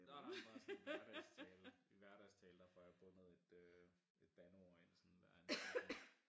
Nej nej men bare sådan hverdagstale i hverdagstale der fået jeg bundet et øh et bandeord ind sådan hver anden sætning